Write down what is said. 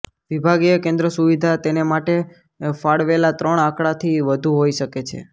વિભાગીય કેન્દ્ર સુવિધા તેને માટે ફાળવેલા ત્રણ આંકડાથી વધુ હોઇ શકે છે